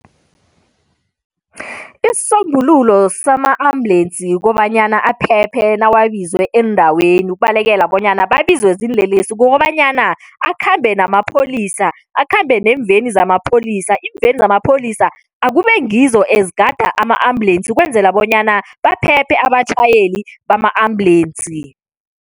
Isisombululo sama-ambulensi kobanyana aphephe nawabizwe eendaweni ukubalekela bonyana babizwe ziinlelesi, kukobanyana akhambe namapholisa, akhambe neemveni zamapholisa. Iimveni zamapholisa akube ngizo ezigada ama-ambulensi ukwenzela bonyana baphephe abatjhayeli bama-ambulensi.